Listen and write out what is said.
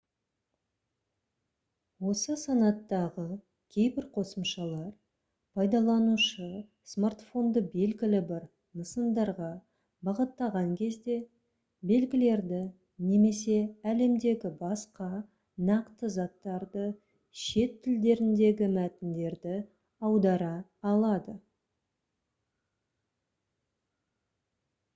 осы санаттағы кейбір қосымшалар пайдаланушы смартфонды белгілі бір нысандарға бағыттаған кезде белгілерді немесе әлемдегі басқа нақты заттарды шет тілдеріндегі мәтіндерді аудара алады